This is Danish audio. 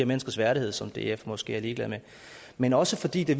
menneskers værdighed som df måske er ligeglad med men også fordi det